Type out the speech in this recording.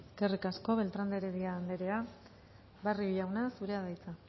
eskerrik asko beltrán de heredia anderea barrio jauna zurea da hitza